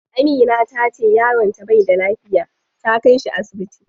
Amina tace yaron ta bai da lafiya, ta kai shi asibiti.